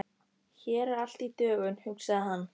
Hér er allt í dögun, hugsaði hann.